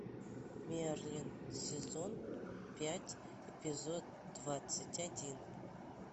мерлин сезон пять эпизод двадцать один